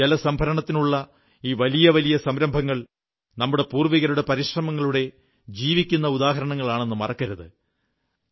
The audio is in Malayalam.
എന്നാൽ ജലംസംഭരണത്തിനുള്ള ഈ വലിയ വലിയ സംരഭങ്ങൾ നമ്മുടെ പൂർവ്വികരുടെ പരിശ്രമങ്ങളുടെ ജീവിക്കുന്ന ഉദാഹരണങ്ങളാണെന്നതു മറക്കരുത്